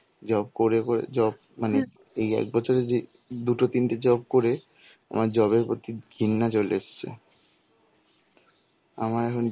job করে করে job মানে এই এক বছরের যে দুটো তিনটে job করে আমার job এর প্রতি ঘৃণা চলে এসছে. আমার এখন